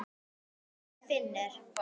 Elsku Finnur.